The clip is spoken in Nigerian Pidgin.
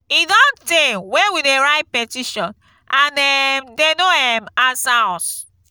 e don tey wey we dey write petition and um dey no um answer us